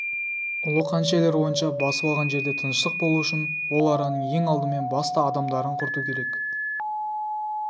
ұлы қанішерлер ойынша басып алған жерде тыныштық болу үшін ол араның ең алдымен басты адамдарын құрту керек